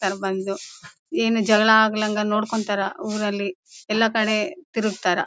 ಹೋರ್ ಬಂದು ಏನು ಜಗಳ ಆಗಾಲ್ದಂಗ ನೋಡ್ಕೊಂತಾರ ಎಲ್ಲಾ ಕಡೆ ತಿರುಗ್ತಾರಾ